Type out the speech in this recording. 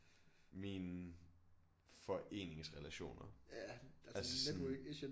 Mine foreningsrelationer altså sådan